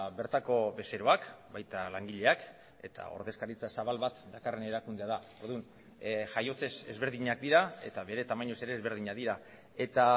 bertako bezeroak baita langileak eta ordezkaritza zabal bat dakarren erakundea da orduan jaiotzez ezberdinak dira eta bere tamainaz ere ezberdinak dira eta